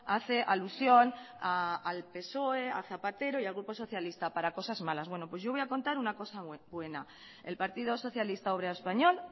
hace alusión al psoe a zapatero y al grupo socialista para cosas malas bueno pues yo voy a contar una cosa buena el partido socialista obrero español